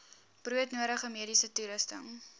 broodnodige mediese toerusting